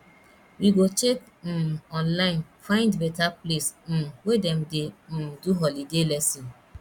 we go check um online find beta place um wey dem dey um do holiday lesson